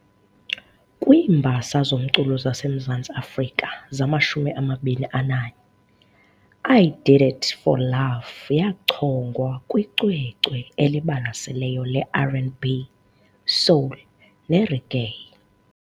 Kwiimbasa zoMculo zaseMzantsi Afrika zamashumi amabini ananye, I Did It For Love yachongwa kwicwecwe eliBalaseleyo leRnB - Soul neReggae.